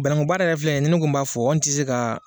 Bannakun baara yɛrɛ filɛ nin ni ne ko ne b'a fɔ n tɛ se ka